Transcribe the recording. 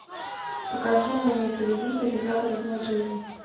покажи мне на телевизоре загородная жизнь